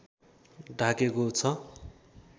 ढाकेको छ